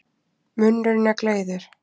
Munnurinn er gleiður.